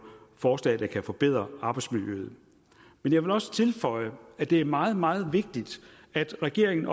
forslag der kan forbedre arbejdsmiljøet men jeg vil også tilføje at det er meget meget vigtigt at regeringen